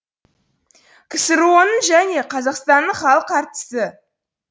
ксро ның және қазақстанның халық әртісі